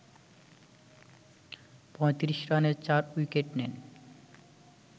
৩৫ রানে ৪ উইকেট নেন